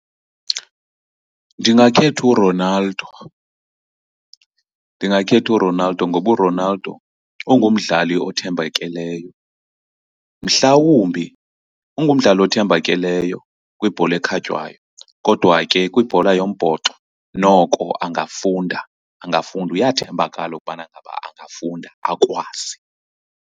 Ndingakhetha uRonaldo, ndingakhetha uRonaldo ngoba uRonaldo ungumdlali othembakeleyo. Mhlawumbi ungumdlali othembakeleyo kwibhola ekhatywayo kodwa ke kwibhola yombhoxo noko angafunda, angafunda. Uyathembakala ukubana ngaba angafunda akwazi.